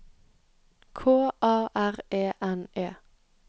K A R E N E